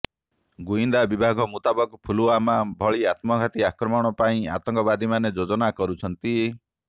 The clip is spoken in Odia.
ଗୁଇନ୍ଦା ବିଭାଗ ମୁତାବକ ପୁଲୱାମା ଭଳି ଆତ୍ମଘାତୀ ଆକ୍ରମଣ ପାଇଁ ଆତଙ୍କବାଦୀମାନେ ଯୋଜନା କରୁଛନ୍ତି